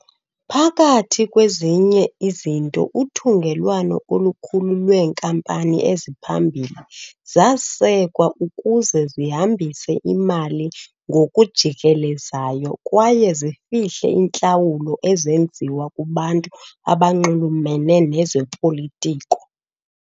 Phakathi kwezinye izinto, uthungelwano olukhulu lweenkampani eziphambili zasekwa ukuze zihambise imali ngokujikelezayo kwaye zifihle iintlawulo ezenziwe kubantu abanxulumene nezopolitiko.